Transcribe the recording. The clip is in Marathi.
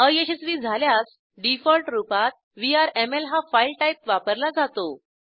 अयशस्वी झाल्यास डिफॉल्ट रूपात व्हीआरएमएल हा फाईल टाईप वापरला जातो